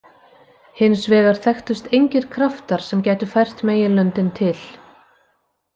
Hins vegar þekktust engir kraftar sem gætu fært meginlöndin til.